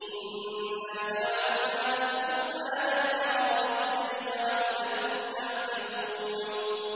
إِنَّا جَعَلْنَاهُ قُرْآنًا عَرَبِيًّا لَّعَلَّكُمْ تَعْقِلُونَ